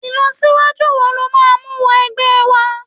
ilọsiwaju wo lo ma mu wọ ẹgbẹ wa